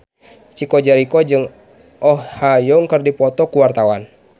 Chico Jericho jeung Oh Ha Young keur dipoto ku wartawan